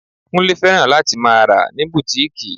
Kúnlé fẹ́ràn láti máa rà ní bùtíkìì